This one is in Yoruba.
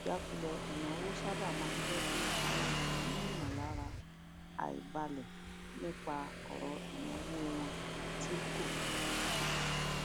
ìjakulẹ ináwó sábà máa ń jẹ kí àwọn ènìyàn ní ìmọlára àìbálẹ nípa ọrọ ináwó wọn tí kò tó